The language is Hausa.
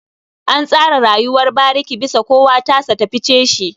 An tsara rayuwar bariki bisa kowa tasa ta fice shi.